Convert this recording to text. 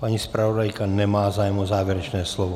Paní zpravodajka nemá zájem o závěrečné slovo.